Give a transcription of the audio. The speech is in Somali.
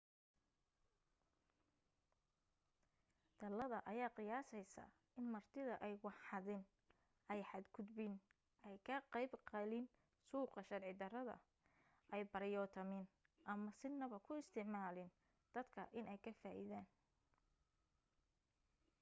talada ayaa qiyaasaysa in martida ay wax xadin ay xad gudbin ay ka qayb galin suuqa sharci darrada ay baryootamin ama sinaba ku isticmaalin dadka inay ka faa'idaan